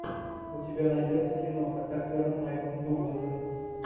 у тебя найдется киноха с актером майклом дугласом